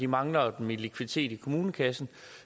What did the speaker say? mangler dem i likviditet i kommunekassen